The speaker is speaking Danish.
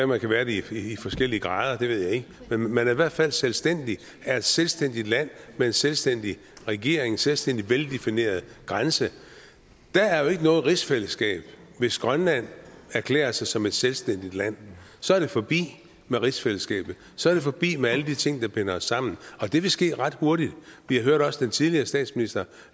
man kan være det i forskellige grader det ved jeg ikke men man er i hvert fald selvstændig er et selvstændigt land med en selvstændig regering en selvstændig veldefineret grænse der er jo ikke noget rigsfællesskab hvis grønland erklærer sig som et selvstændigt land så er det forbi med rigsfællesskabet så er det forbi med alle de ting der binder os sammen og det vil ske ret hurtigt vi hørte også den tidligere statsminister